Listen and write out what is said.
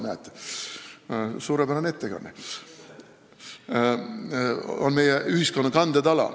Näed, suurepärane ettekanne!